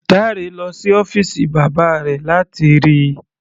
Dare lọ sí ọ́fìsì bàbá rẹ̀ láti rí i.